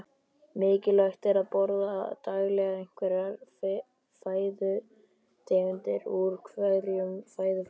Mikilvægt er að borða daglega einhverjar fæðutegundir úr hverjum fæðuflokki.